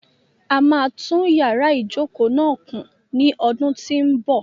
A máa tún yàrá ìjokòó náà kùn ní ọdún tí ń bọ̀.